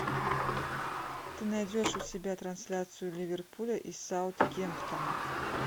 ты найдешь у себя трансляцию ливерпуля и саутгемптона